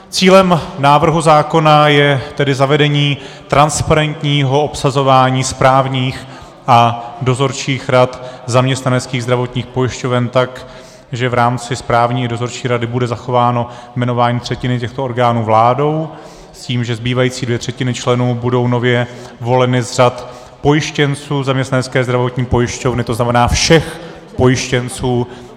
Cílem návrhu zákona je tedy zavedení transparentního obsazování správních a dozorčích rad zaměstnaneckých zdravotních pojišťoven tak, že v rámci správní i dozorčí rady bude zachováno jmenování třetiny těchto orgánů vládou s tím, že zbývající dvě třetiny členů budou nově voleny z řad pojištěnců zaměstnanecké zdravotní pojišťovny, to znamená všech pojištěnců.